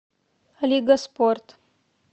лига спорт